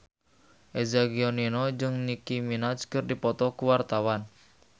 Eza Gionino jeung Nicky Minaj keur dipoto ku wartawan